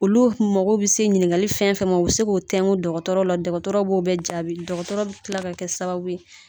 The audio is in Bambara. Olu kun mago bi se ɲininkali fɛn fɛn ma u bɛ se k'o tɛŋu dɔgɔtɔrɔ la, dɔgɔtɔrɔ b'o bɛɛ jaabi. Dɔgɔtɔrɔ be tila ka kɛ sababu